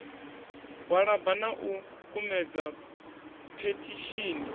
gwalaba na u kumedza phethishini